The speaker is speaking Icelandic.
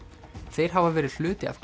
þeir hafa verið hluti af